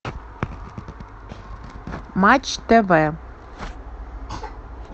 матч тв